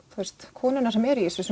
konurnar sem eru í þessu